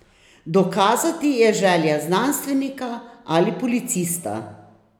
Dokazati je želja znanstvenika ali policista.